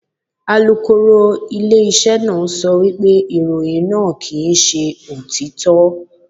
Alukoro ilé iṣẹ́ náà sọ wípé ìròyìn náà kì ń ṣe òtítọ́.